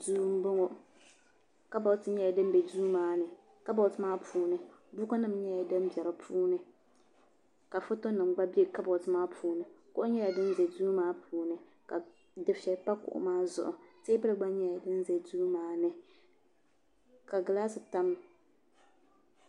duu n bɔŋɔ kabood nyɛla din bɛ duu maa ni kabood maa puuni buku nim nyɛla din bɛ dinni ka foto nim gba bɛ kabood maa puuni kuɣu nyɛla din ʒɛ duu maa puuni ka dufɛli pa kuɣu maa zuɣu Teebuli gba nyɛla din ʒɛ duu maa ni ka gilaas tamya